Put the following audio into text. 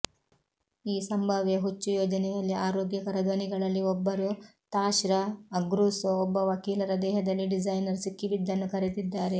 ಈ ಸಂಭಾವ್ಯ ಹುಚ್ಚು ಯೋಜನೆಯಲ್ಲಿ ಆರೋಗ್ಯಕರ ಧ್ವನಿಗಳಲ್ಲಿ ಒಬ್ಬರು ತಾಶ್ರಾ ಅಗ್ರೂಸೊ ಒಬ್ಬ ವಕೀಲರ ದೇಹದಲ್ಲಿ ಡಿಸೈನರ್ ಸಿಕ್ಕಿಬಿದ್ದನ್ನು ಕರೆದಿದ್ದಾರೆ